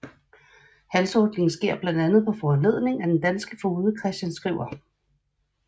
Halshugningen sker blandt andet på foranledning af den danske foged Christian Skriver